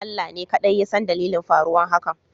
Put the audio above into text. Allah ne kadai yasan dalilin faruwar hakan